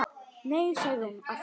Nei, sagði hún aftur.